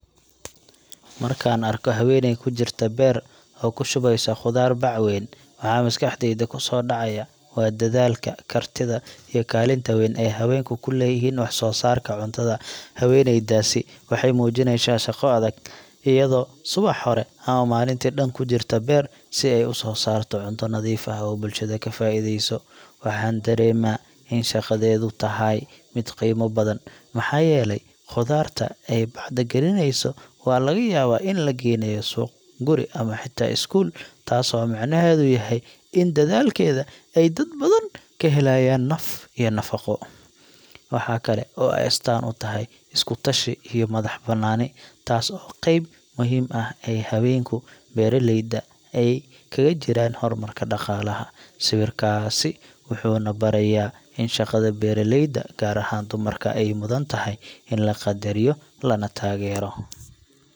Markaan arko haweeney ku jirta beer oo ku shubeysa khudaar bac weyn, waxa maskaxdayda ku soo dhacaya waa dadaalka, kartida, iyo kaalinta weyn ee haweenku ku leeyihiin wax-soo-saarka cuntada. Haweeneydaasi waxay muujinaysaa shaqo adag, iyadoo subax hore ama maalintii dhan ku jirta beer si ay u soo saarto cunto nadiif ah oo bulshada ka faa’iideyso. Waxaan dareemaa in shaqadeedu tahay mid qiimo badan, maxaa yeelay khudaarta ay bacda gelinayso waxaa laga yaabaa in la geynayo suuq, guri ama xitaa iskuul, taasoo micnaheedu yahay in dadaalkeeda ay dad badan ka helayaan naf iyo nafaqo. Waxaa kale oo ay astaan u tahay iskutashi iyo madax-bannaani, taasoo ah qayb muhiim ah oo ay haweenka beeraleyda ah kaga jiraan horumarka dhaqaalaha. Sawirkaasi wuxuu na barayaa in shaqada beeraleyda, gaar ahaan dumarka, ay mudan tahay in la qadariyo lana taageero.